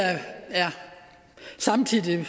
samtidig